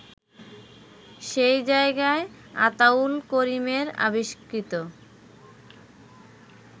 সেই জায়গায় আতাউল করিমের আবিষ্কৃত